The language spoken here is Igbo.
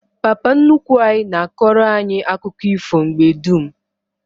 Papa nnukwu anyi na akoro anyi akuko ifo mgbe dum